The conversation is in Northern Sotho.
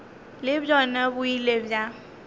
le bjona bo ile bja